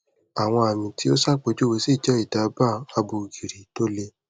awon ami ti o sapejuwe si je idaba abo giri to le